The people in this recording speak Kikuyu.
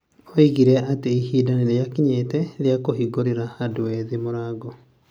Oigire atĩ ihinda nĩ rĩakinyĩte rĩa "kũhingũrĩra andũ ethĩ mũrango".